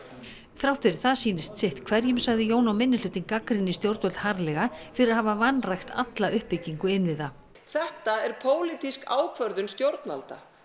þrátt fyrir það sýnist sitt hverjum sagði Jón og minnihlutinn gagnrýnir stjórnvöld harðlega fyrir að hafa vanrækt alla uppbyggingu innviða þetta er pólitísk ákvörðun stjórnvalda